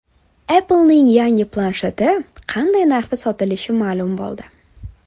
Apple’ning yangi plansheti qanday narxda sotilishi ma’lum bo‘ldi.